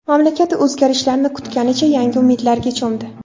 Mamlakat o‘zgarishlarni kutganicha yangi umidlarga cho‘mdi.